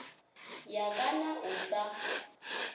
ya ka na o sa